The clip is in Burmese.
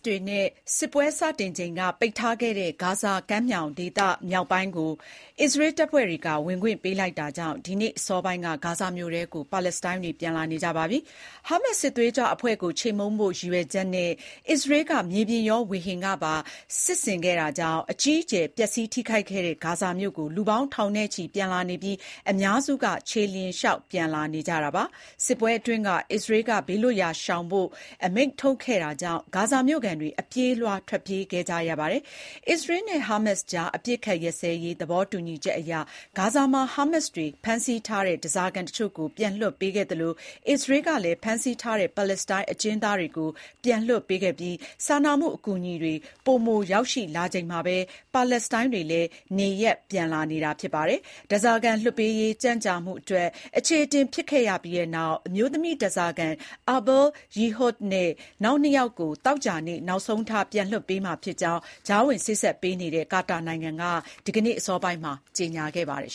တွေနဲ့ စစ်ပွဲစတင်ချိန်ကပိတ်ထားခဲ့တဲ့ ဂါဇာဒေသမြောက်ပိုင်းကို အစ္စရေးတပ်ဖွဲ့တွေက ဝင်ခွင့်ပေးလိုက်တာကြောင့် ဒီနေ့အစောပိုင်းကစ ပါလက်စတိုင်းတွေ ဂါဇာမြို့ထဲ ပြန်လာနေကြပါပြီ။ ဟာမတ်စ် စစ်သွေးကြွအဖွဲ့ကို ချေမှုန်းဖို့ ရည်ရွယ်ချက်နဲ့ အစ္စရေးက မြေပြင်ရောဝေဟင်ကပါ စစ်ဆင်ခဲ့တာကြောင့် အကြီးအကျယ် ပျက်စီးထိခိုက်ခဲ့တဲ့ ဂါဇာမြိုဆီကို လူပေါင်းထောင်ချီ ပြန်လာနေပြီး အများစုက ခြေလျင်လျှောက်လာနေကြတာပါ။ စစ်ပွဲအတွင်း အစ္စရေးက ဘေးလွတ်ရာရှောင်ဖို့ အမိန့်ထုတ်ခဲ့တာကြောင့် ဂါဇာမြို့ခံတွေ အပြေးအလွှား ထွက်ပြေးခဲ့ကြရတာဖြစ်ပါတယ် အစ္စရေးနဲ့ဟာမတ်စ်ကြား အပစ်အခတ်ရပ်စဲရေး သဘောတူညီချက်အရ ဂါဇာမှာ ဟာမတ်စ်တွေ ဖမ်းဆီးထားတဲ့ဓားစာခံတချို့ကို ပြန်လွှတ်ပေးခဲ့သလို အစ္စရေးကလည်း ဖမ်းဆီးထားတဲ့ ပါလက်စတိုင်း အကျဉ်းသားတွေကို ပြန်လွှတ်ပေးခဲ့ပြီး စာနာမှုအကူအညီတွေ ပိုမိုရောက်ရှိလာချိန်မှာပဲ ပါလက်စတိုင်းတွေလည်း နေရပ်ပြန်လာနေတာ ဖြစ်ပါတယ်။ ဓားစာခံလွှတ်ပေးရေး ကြန့်ကြာမှု အတွက် အခြေအတင်ဖြစ်ခဲ့ရပြီးနောက် အမျိုးသမီးဓားစာခံ Arbel Yehoud နဲ့ နောက်နှစ်ယောက်ကို သောကြာနေ့ နောက်ဆုံးထား ပြန်လွှတ်ပေးမှာဖြစ်ကြောင်း ကြားဝင်စေ့စပ်ပေးနေတဲ့ ကာတာနိုင်ငံက ဒီကနေ့ အစောပိုင်းမှာပဲ ကြေညာခဲ့ပါတယ်